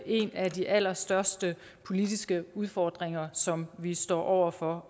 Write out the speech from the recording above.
en af de allerstørste politiske udfordringer som vi står over for